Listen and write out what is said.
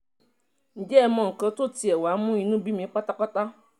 ǹjẹ́ ẹ mọ nǹkan tó tiẹ̀ wáá mú inú bí mi pátápátá